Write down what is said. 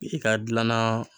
I ka dilanna